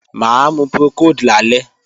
Máa mu Procold lálẹ́